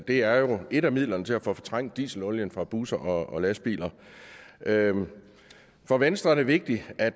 det er jo et af midlerne til at få fortrængt dieselolien fra busser og lastbiler for venstre er det vigtigt at